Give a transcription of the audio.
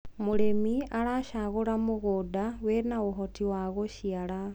mũrĩmi aracagura mũgũnda wina uhoti wa guciara